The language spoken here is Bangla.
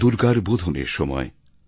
মা দুর্গার বোধনের সময়